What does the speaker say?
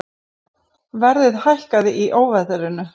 Verðið hækkaði í óveðrinu